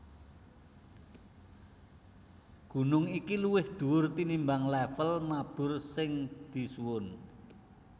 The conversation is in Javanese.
Gunung iki luwih dhuwur tinimbang lèvel mabur sing disuwun